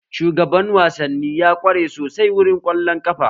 Shugaban wasanni ya kware sosai wurin kwallon ƙafa